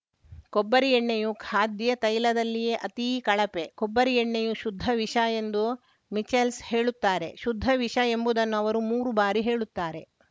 ಕೊಬ್ಬರಿ ಎಣ್ಣೆಯು ಖಾದ್ಯ ತೈಲದಲ್ಲೇ ಅತೀ ಕಳಪೆ ಕೊಬ್ಬರಿ ಎಣ್ಣೆಯು ಶುದ್ಧ ವಿಷಎಂದು ಮಿಚೆಲ್ಸ್‌ ಹೇಳುತ್ತಾರೆ ಶುದ್ಧ ವಿಷಎಂಬುದನ್ನು ಅವರು ಮೂರು ಬಾರಿ ಹೇಳುತ್ತಾರೆ